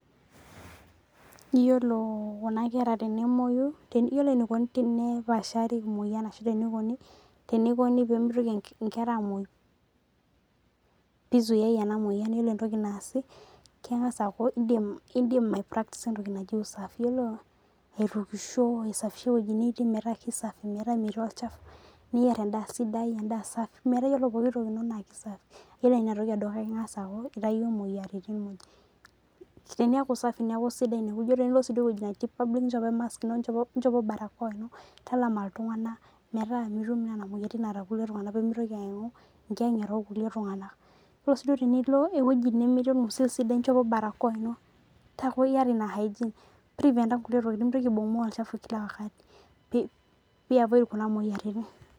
Yiolo kuna kera tenemoyu, yiolo enikoni tene paashari moyian ashu tenikoni, tenikoni pemitoki nkera amoyu, pizuiai ena moyian yiolo entoki naasi, keng'asa aku idim aipraktisa entoki naji usafi. Yiolo aitukisho, aisafisha ewoji nitii metaa kesafi, metaa metii olchafu, niyier endaa sidai endaa safi, metaa yiolo pooki toki ino naa kesafi. Yiolo inatoki edukuya ing'asa aku itayio moyiaritin moj. Teniaku safi neku sidai inewoji, tenilo si woji nchopo e mask ino nchopo barakoa ino. Talama iltung'anak metaa mitum nena moyiaritin naata irkulie tung'anak pemitoki aimu ingieng'ata orkulie tung'anak. Yiolo si duo pilo ewoji nemetii orng'usil sidai nchopo barakoa ino, taku yata ina hygiene, mpriventa nkulie tokiting mintoki aibung'bung' olchafu kila wakati, pi avoid kuna moyiaritin.